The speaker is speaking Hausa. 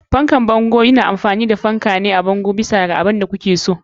Fan bango fan ne wanda yake a bango a kowane gefe, bisa ga abin da kuke so.